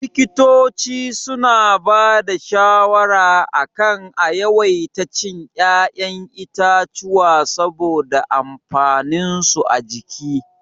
Likitoci suna ba da shawara a kan a yawaita cin ya'yan itatuwa saboda amfaninsu a jiki.